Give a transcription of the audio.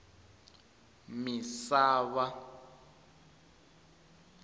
misava